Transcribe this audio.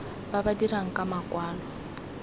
ba ba dirang ka makwalo